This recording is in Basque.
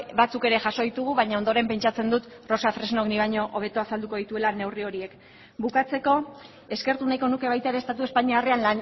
batzuk ere jaso ditugu baina ondoren pentsatzen dut rosa fresnok nik baino hobeto azaldu dituela neurri horiek bukatzeko eskertu nahiko nuke baita ere estatu espainiarrean